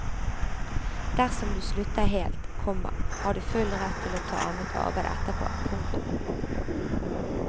Dersom du slutter helt, komma har du full rett til å ta annet arbeide etterpå. punktum